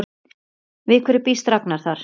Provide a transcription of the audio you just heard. Við hverju býst Ragnar þar?